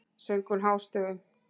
söng hún hástöfum.